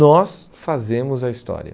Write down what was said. Nós fazemos a história.